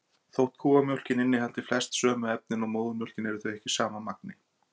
Þótt kúamjólkin innihaldi flest sömu efnin og móðurmjólkin eru þau ekki í sama magni.